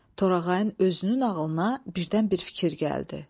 Torağayın özünün ağlına birdən bir fikir gəldi.